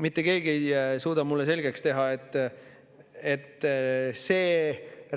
Mitte keegi ei suuda mulle selgeks teha, et see